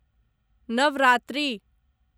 Navratri